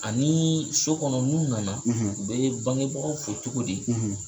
Anii so kɔnɔ n'u nana, u bee bangebagaw fo cogodi